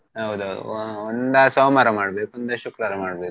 ಹೌದೌದು ಒಂದ ಸೋಮವಾರ ಮಾಡ್ಬೇಕು ಒಂದ ಶುಕ್ರವಾರ ಮಾಡ್ಬೇಕು.